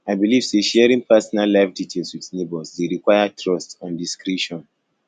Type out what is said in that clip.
i dey believe say sharing personal life details with neighbors dey require trust and discretion